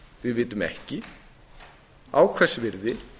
við vitum ekki á hvers virði